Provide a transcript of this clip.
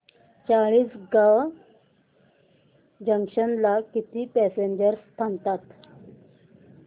Chalisgaon junction ला किती passengers थांबतात